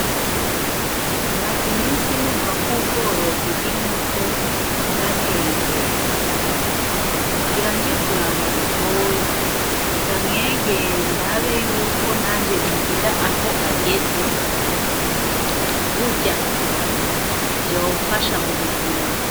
Maze iminsi numva k'ubworozi bw'inkoko bwatey' imbere. Ngira nje kuraba butoyi, ndamwegere ndabe yuko nanje nogera aho ageze. Burya! Vyomfasha mu buzima.